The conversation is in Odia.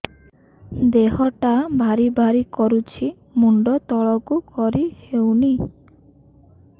ଦେହଟା ଭାରି ଭାରି କରୁଛି ମୁଣ୍ଡ ତଳକୁ କରି ହେଉନି